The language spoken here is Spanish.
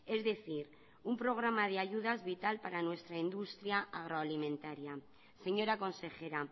es decir un programa de ayudas vital para nuestra industria agroalimentaria señora consejera